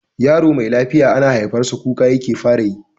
Yaro me lafiya ana haifar sa kuka yake fara yi.